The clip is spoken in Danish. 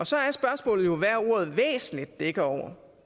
så er spørgsmålet jo hvad ordet væsentligt dækker over